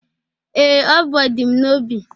Ee, o bụ ọdịm n'obi